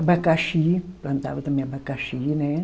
Abacaxi, plantava também abacaxi, né